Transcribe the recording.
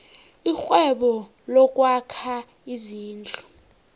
irhwebo lokwakha izindlu